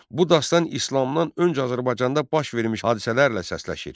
Bu dastan İslamdan öncə Azərbaycanda baş vermiş hadisələrlə səsləşir.